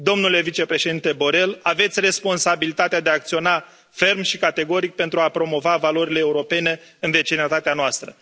Domnule vicepreședinte Borrell, aveți responsabilitatea de a acționa ferm și categoric pentru a promova valorile europene în vecinătatea noastră.